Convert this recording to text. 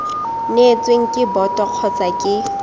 neetsweng ke boto kgotsa ke